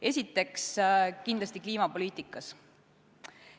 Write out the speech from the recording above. Esiteks, kindlasti kliimapoliitika.